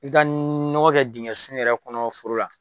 I ka nɔgɔ kɛ dingɛ sun yɛrɛ kɔnɔ foro la